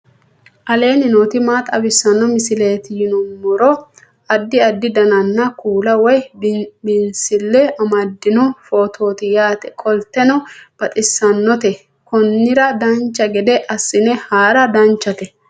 aleenni nooti maa xawisanno misileeti yinummoro addi addi dananna kuula woy biinsille amaddino footooti yaate qoltenno baxissannote konnira dancha gede assine haara danchate